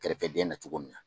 Kɛrɛfɛdenna cogo min na.